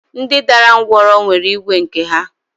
Ndị dara ńgwọrọ nwere igwe nke ha?